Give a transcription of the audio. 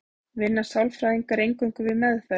vinna sálfræðingar eingöngu við meðferð